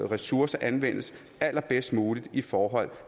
ressourcer anvendes allerbedst muligt i forhold